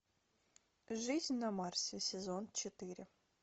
жизнь на марсе сезон четыре